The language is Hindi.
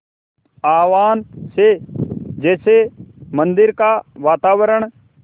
आह्वान से जैसे मंदिर का वातावरण